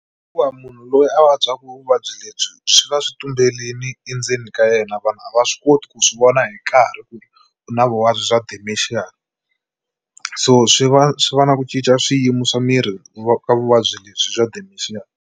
Hikuva munhu loyi a vabyaka vuvabyi lebyi swi va swi tumberini endzeni ka yena vanhu a va swi koti ku swi vona hi nkarhi ku ri u na vuvabyi bya dementia, so swi va swi va na ku cinca swiyimo swa miri ku ka vuvabyi lebyi bya dementia.